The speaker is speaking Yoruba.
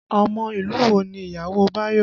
Ọmọ ìlú wo ni ìyàwó Bayo?